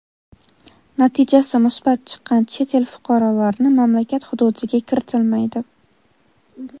natijasi musbat chiqqan chet el fuqarolarini mamlakat hududiga kiritilmaydi.